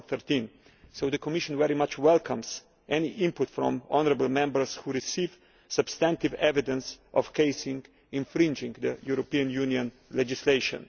2013. So the Commission very much welcomes any input from honourable Members who received substantive evidence of cases infringing European Union legislation.